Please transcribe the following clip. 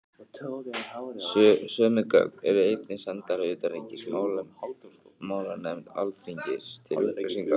Sömu gögn eru einnig sendar utanríkismálanefnd Alþingis til upplýsingar.